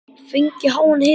Fengið háan hita.